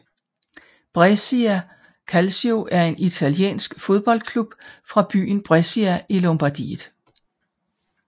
Brescia Calcio er en italiensk fodboldklub fra byen Brescia i Lombardiet